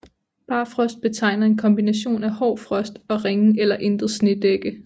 Barfrost betegner en kombination af hård frost og ringe eller intet snedække